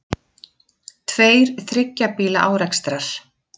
Tveir þriggja bíla árekstrar